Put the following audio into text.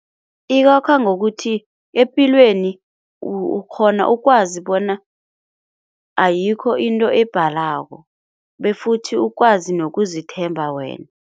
Ikwakha ngokuthi epilweni ukghona ukwazi bona ayikho into ebhalako befuthi ukwazi nokuzithemba wena.